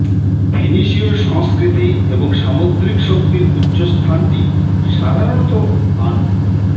ফিনিশীয় সংস্কৃতি এবং সামুদ্রিক শক্তির উচু স্থানটি সাধারণত আনু